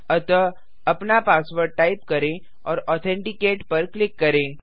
अतः अपना password type करें और ऑथेंटिकेट पर क्लिक करें